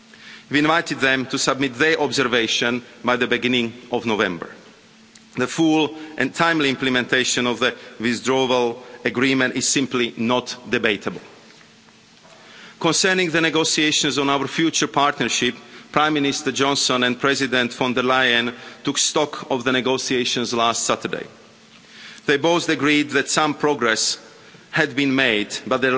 We invited them to submit their observations by the beginning of November. The full and timely implementation of the Withdrawal Agreement is simply not debatable. Concerning the negotiations on our future partnership, Prime Minister Johnson and President von der Leyen took stock of the negotiations last Saturday. They both agreed that some progress had been